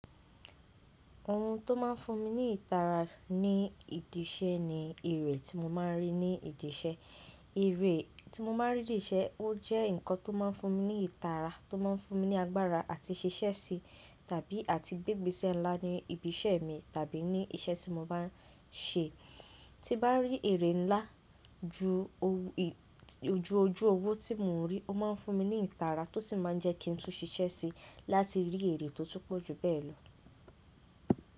Ohun tó máa n fún mi ní ìtara ní ìdí iṣẹ́ ni èrè tí mo máa n rí ní ìdí iṣẹ́. Èrè tí mo má a rí dì í ṣe, ó jẹ́ nǹkan tó má a fún mi ní ìtara, tó mo n fún mi ní agbára àti ṣiṣẹ́ sí tàbí à ti gbégbésẹ́ ńlá ní ibi iṣẹ́ mi tàbí ní iṣẹ́ tí mo bá n ṣe. Tí bá rí èrè ńlá ju oju ojú owó tí mo n rí, ó mo n fún mi ní ìtara tó sì má n jẹ́ kí n tún ṣiṣẹ́ sí láti rí èrè tó túpọ̀ ju bẹ́ẹ̀ lọ.